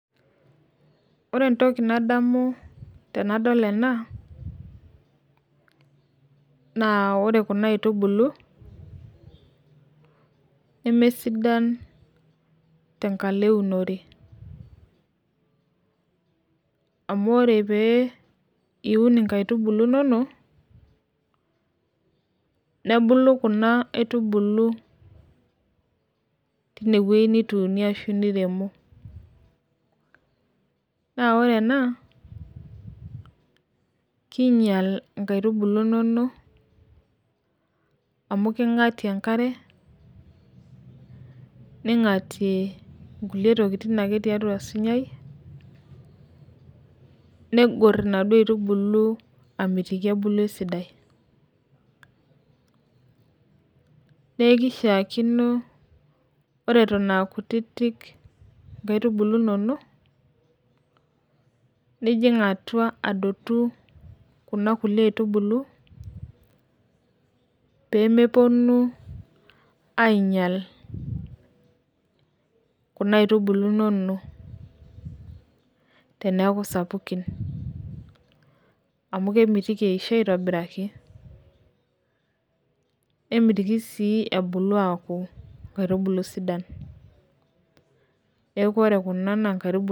ore entoki nadamu tenadol ena naa ore kuna aitubulu nemesidan tengalo eunore amu ore pee iun kuna aitubulu inonok nebulu kuaitubulu tineweji nituunie ashu tineweji niremo, naa ore ena king'ial kuna atubulu inonok amu kengor enkare inaduoo atubulu amitiki ebulu esidai, neeku kishaa kino ore eton aakutiti inkatubulu inonok nijing' atua adotu kuna aitubulu pee mepuonu aing'al kuna aitubulu inono teneeku sapuki amu kemitiki ebulu aitobiraki.